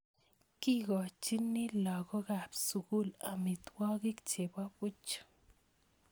Kikochini lagokab sukul amitwogik chebo buch